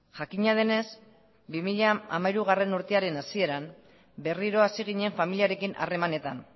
jakina denez bi mila hamairugarrena hasieran berriro hasi ginen familiarekin harremanetan